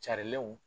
Carilenw